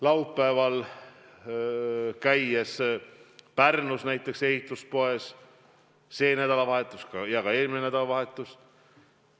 Laupäeval ma käisin Pärnus ehituspoes ja käisin ka eelmisel nädalavahetusel.